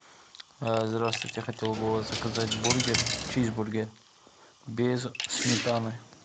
здравствуйте я хотел бы у вас заказать бургер чизбургер без сметаны